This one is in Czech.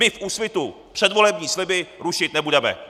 My v Úsvitu předvolební sliby rušit nebudeme.